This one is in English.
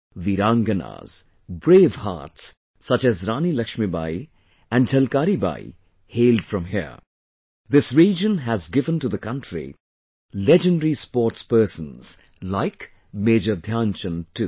Veeranganas, brave hearts such as Rani Laxmibai and Jhalkaribai hailed from here...this region has given to the country legendary sports persons like Major Dhyanchand too